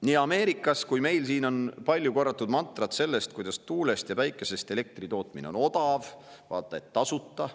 Nii Ameerikas kui ka meil siin on palju korratud mantrat, et tuulest ja päikesest elektri tootmine on odav, vaata et tasuta.